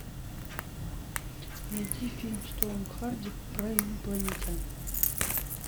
найди фильм с томом харди про инопланетян